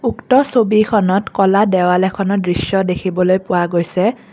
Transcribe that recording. উক্ত ছবিখনত ক'লা দেৱাল এখনৰ দৃশ্য দেখিবলৈ পোৱা গৈছে।